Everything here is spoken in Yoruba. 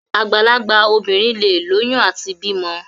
Àgbàlagbà obìnrin leè lóyún àti bímọ.